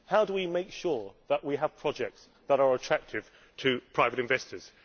How do we make sure that we have projects that are attractive to private investors?